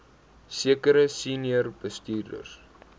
sekere senior bestuurders